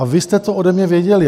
A vy jste to ode mě věděli.